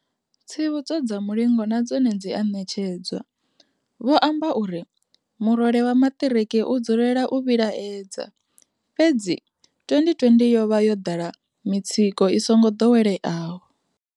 Tsivhudzo dza mulingo na dzone dzi a ṋetshedzwa. Vho amba uri, murole wa maṱiriki u dzulela u vhilaedza, fhedzi 2020 yo vha yo ḓala mi tsiko i songo ḓoweleaho.